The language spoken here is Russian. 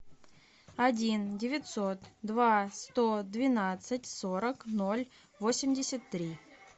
один девятьсот два сто двенадцать сорок ноль восемьдесят три